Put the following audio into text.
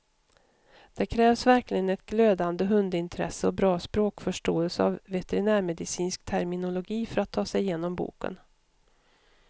Det krävs verkligen ett glödande hundintresse och bra språkförståelse av veterinärmedicinsk terminologi för att ta sig igenom boken.